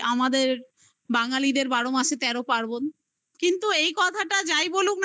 আমাদের বাঙ্গালীদের বারো মাসে তেরো পার্বণ কিন্তু এই কথাটা যাই বলুক না